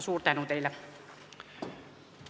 Suur tänu teile!